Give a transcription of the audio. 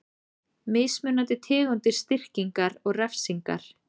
Mismunandi tegundir styrkingar og refsingar.